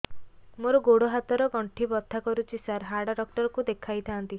ମୋର ଗୋଡ ହାତ ର ଗଣ୍ଠି ବଥା କରୁଛି ସାର ହାଡ଼ ଡାକ୍ତର ଙ୍କୁ ଦେଖାଇ ଥାନ୍ତି